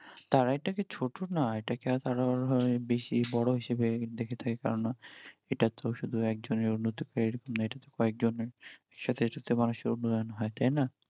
তারা এটাকে ছোট না, এটাকে তাড়া অনেক বেশি বড় হিসেবে দেখে থাকে, কারণ এটা তো শুধু একজনের উন্নতি বা এরকম না এটাতো কয়েকজনার সাথে সাথে মানষের উন্নয়ন হই